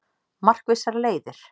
Markvissar leiðir